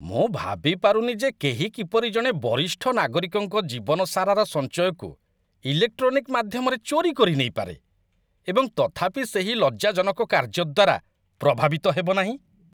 ମୁଁ ଭାବି ପାରୁନି ଯେ କେହି କିପରି ଜଣେ ବରିଷ୍ଠ ନାଗରିକଙ୍କ ଜୀବନ ସାରାର ସଞ୍ଚୟକୁ ଇଲେକ୍ଟ୍ରୋନିକ୍ ମାଧ୍ୟମରେ ଚୋରି କରିନେଇପାରେ, ଏବଂ ତଥାପି ସେହି ଲଜ୍ଜାଜନକ କାର୍ଯ୍ୟ ଦ୍ୱାରା ପ୍ରଭାବିତ ହେବ ନାହିଁ।